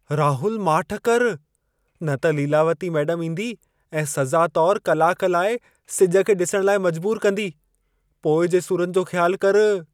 राहुल माठि करु, न त लीलावती मेडमु ईंदी ऐं सज़ा तौरु कलाक लाइ सिज खे ॾिसण लाइ मजबूरु कंदी। पोइ जे सुरनि जो ख़्यालु करु।